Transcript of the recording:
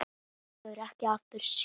Þá verður ekki aftur snúið.